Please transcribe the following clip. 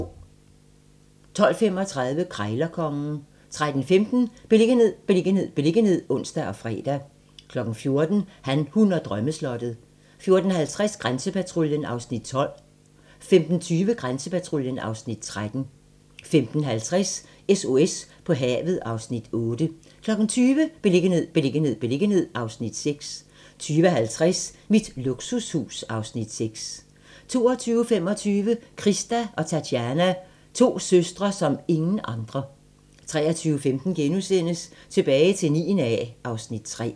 12:35: Krejlerkongen 13:15: Beliggenhed, beliggenhed, beliggenhed (ons og fre) 14:00: Han, hun og drømmeslottet 14:50: Grænsepatruljen (Afs. 12) 15:20: Grænsepatruljen (Afs. 13) 15:50: SOS på havet (Afs. 8) 20:00: Beliggenhed, beliggenhed, beliggenhed (Afs. 6) 20:50: Mit luksushus (Afs. 6) 22:25: Krista og Tatiana - to søstre som ingen andre 23:15: Tilbage til 9. A (Afs. 3)*